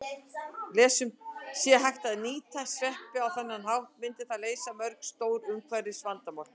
Sé hægt að nýta sveppi á þennan hátt myndi það leysa mörg stór umhverfisvandamál.